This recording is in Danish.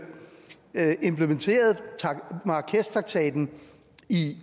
at vi implementerer marrakeshtraktaten i